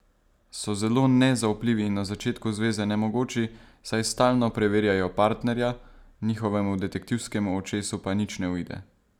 So zelo nezaupljivi in na začetku zveze nemogoči, saj stalno preverjajo partnerja, njihovemu detektivskemu očesu pa nič ne uide.